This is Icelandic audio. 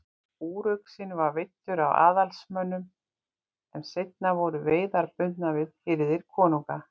Úruxinn var veiddur af aðalsmönnum en seinna voru veiðar bundnar við hirðir konunga.